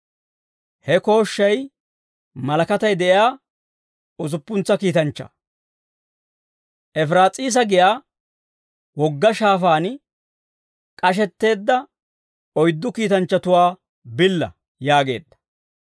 He kooshshay malakatay de'iyaa usuppuntsa kiitanchchaa, «Efiraas'iisa giyaa wogga shaafaan k'ashetteedda oyddu kiitanchchatuwaa billa» yaageedda.